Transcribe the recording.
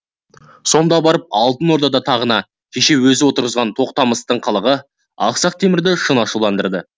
сонда барып алтын орда тағына кеше өзі отырғызған тоқтамыстың қылығы ақсақ темірді шын ашуландырды